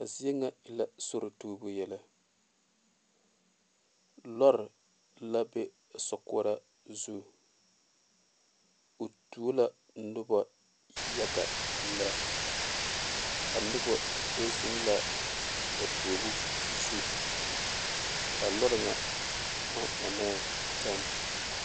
A zie nyɛ e la sori tubu yɛllɛ lɔre la be a sokoɔraa zu o tuo la noba yaga lɛ a noba do zeŋ la ba tuobu zu a lɔre ŋa maŋ onnee teŋa.